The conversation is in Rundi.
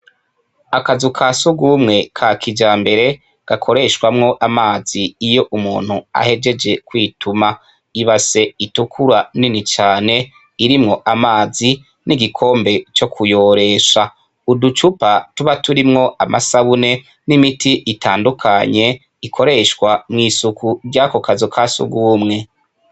Akazu ka s'urw'umwe ka kijambere, gakoreshwamwo amazi iyo umuntu ahejeje kwituma, ibase itukura nini cane irimwo amazi n'igikombe co kuyoresha, uducupa tuba turimwo amasabune n'imiti itandukanye ikoreshwa mw'isuku ry'ako kazu ka s'urw'umwe.